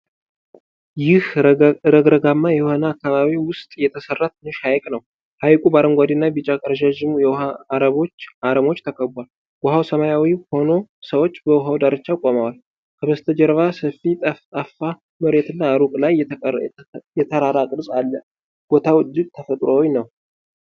ይህ ረግረጋማ የሆነ አካባቢ ውስጥ የተሠራ ትንሽ ሐይቅ ነው። ሐይቁ በአረንጓዴና ቢጫ ረዣዥም የውሃ አረሞች ተከቧል። ውሃው ሰማያዊ ሆኖ ሰዎች በውሃው ዳርቻ ቆመዋል። ከበስተጀርባ ሰፊ ጠፍጣፋ መሬትና ሩቅ ላይ የተራራ ቅርጽ አለ። ቦታው እጅግ ተፈጥሯዊ ነው።